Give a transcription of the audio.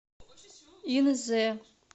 инзе